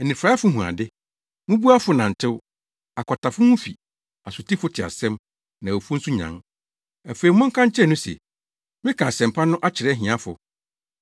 anifuraefo hu ade, mmubuafo nantew, akwatafo ho fi, asotifo te asɛm, na awufo nso nyan. Afei monka nkyerɛ no se, meka asɛmpa no kyerɛ ahiafo.